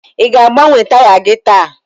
ị ga-agbanwe taya gị taa?